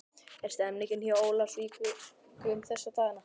Hvernig er stemmningin hjá Ólafsvíkingum þessa dagana?